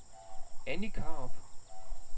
Anny Krarup